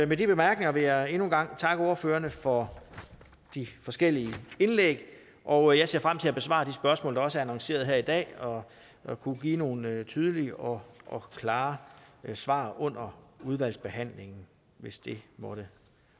med de bemærkninger vil jeg endnu en gang takke ordførerne for de forskellige indlæg og jeg ser frem til at besvare de spørgsmål der også er annonceret her i dag og at kunne give nogle tydelige og og klare svar under udvalgsbehandlingen hvis der måtte